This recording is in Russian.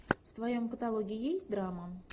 в твоем каталоге есть драма